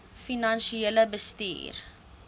finansiële bestuur